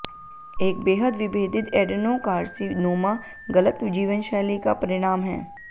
एक बेहद विभेदित एडेनोकार्सीनोमा गलत जीवनशैली का परिणाम है